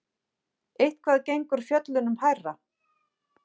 Eitthvað gengur fjöllunum hærra